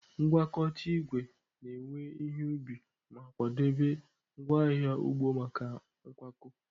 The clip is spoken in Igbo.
Ngwakọta igwe na-ewe ihe ubi ma kwadebe ngwaahịa ugbo maka nkwakọ.